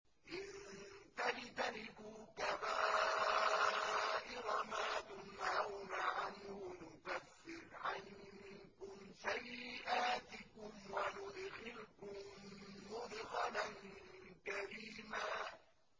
إِن تَجْتَنِبُوا كَبَائِرَ مَا تُنْهَوْنَ عَنْهُ نُكَفِّرْ عَنكُمْ سَيِّئَاتِكُمْ وَنُدْخِلْكُم مُّدْخَلًا كَرِيمًا